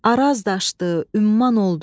Araz daşdı, Ümman oldu,